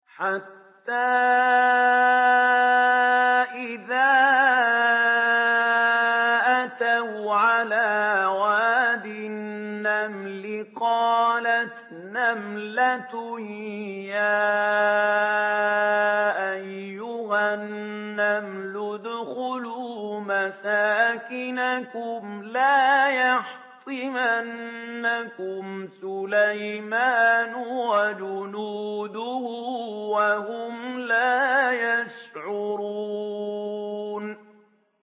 حَتَّىٰ إِذَا أَتَوْا عَلَىٰ وَادِ النَّمْلِ قَالَتْ نَمْلَةٌ يَا أَيُّهَا النَّمْلُ ادْخُلُوا مَسَاكِنَكُمْ لَا يَحْطِمَنَّكُمْ سُلَيْمَانُ وَجُنُودُهُ وَهُمْ لَا يَشْعُرُونَ